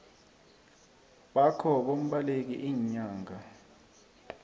bakho bombaleki iinyanga